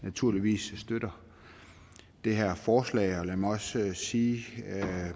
naturligvis støtter det her forslag lad mig også sige